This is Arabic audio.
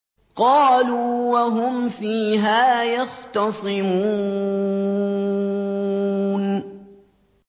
قَالُوا وَهُمْ فِيهَا يَخْتَصِمُونَ